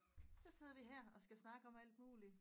Så sidder vi her og skal snakke om alt muligt